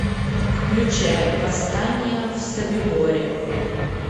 включай восстание в собиборе